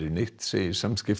neitt segir